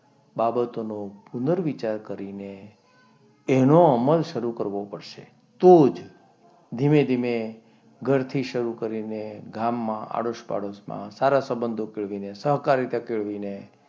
બાબતોનો પુનર્વિચાર કરીને એનો અમલ શરૂ કરવો પડશે. તો જ ધીમે ધીમે ઘરથી શરૂ કરીને ગામમાં પાડોશમાં આડોસ પાડોશમાં સારા સંબંધો કેળવીને સહકારીતા કેળવીને,